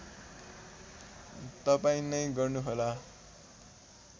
तपाईँ नै गर्नुहोला